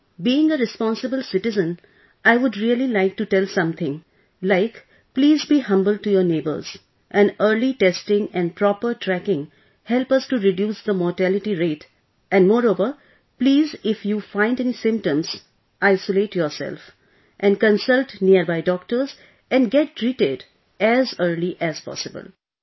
Yes sir... Being a responsible citizen I would really like to tell something like please be humble to your neighbors and early testing and proper tracking help us to reduce the mortality rate and moreover please if you find any symptoms isolate yourself and consult nearby doctors and get treated as early as possible